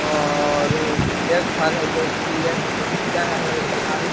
और ये घर है जोकि ये खिड़कियाँ है और एक झुआरी --